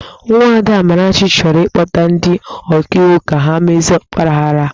Nwada Amarachi chọrọ ịkpọta ndi ọkaiwu ka ha mezie ọgbaaghara ahụ.